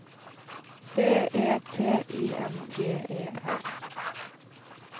B E T I N G E R